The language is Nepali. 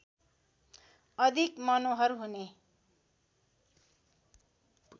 अधिक मनोहर हुने